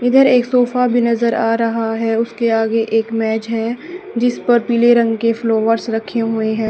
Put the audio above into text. इधर एक सोफा भी नजर आ रहा है उसके आगे एक मेज है जिसपर पीले रंग के फ्लोवर्स रखे हुए हैं।